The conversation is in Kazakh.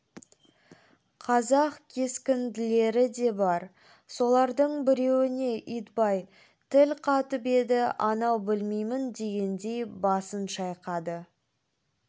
қазақ кескінділері де бар солардың біреуіне итбай тіл қатып еді анау білмеймін дегендей басын шайқады